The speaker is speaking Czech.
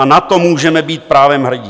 A na to můžeme být právem hrdí.